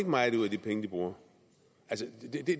meget ud af de penge de bruger